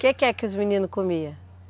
Que que é que os meninos comiam?